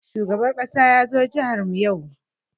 Shugaban ƙasa ya zo jihar mu yau.